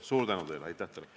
Suur tänu teile!